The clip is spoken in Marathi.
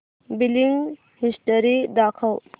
बिलिंग हिस्टरी दाखव